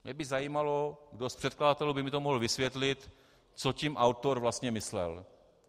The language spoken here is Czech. Mě by zajímalo, kdo z předkladatelů by mi to mohl vysvětlit, co tím autor vlastně myslel.